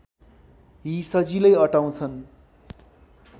यी सजिलै अटाउँछन्